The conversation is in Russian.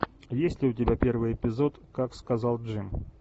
есть ли у тебя первый эпизод как сказал джим